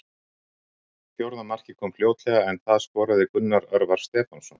Fjórða markið kom fljótlega en það skoraði Gunnar Örvar Stefánsson.